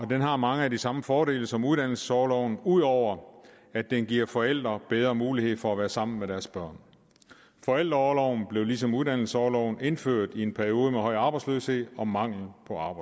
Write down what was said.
har mange af de samme fordele som uddannelsesorloven ud over at den giver forældre bedre mulighed for at være sammen med deres børn forældreorloven blev ligesom uddannelsesorloven indført i en periode med høj arbejdsløshed og mangel